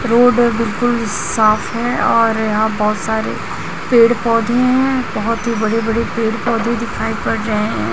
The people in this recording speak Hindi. रोड बिल्कुल साफ है और यहां बहुत सारे पेड़ पौधे हैं बहुत ही बड़े बड़े पेड़ पौधे दिखाई पड़ रहे हैं।